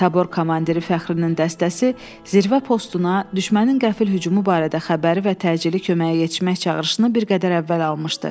Tabor komandiri Fəxrinin dəstəsi Zirvə postuna düşmənin qəfil hücumu barədə xəbəri və təcili köməyə yetişmək çağırışını bir qədər əvvəl almışdı.